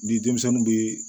Ni denmisɛnnin bɛ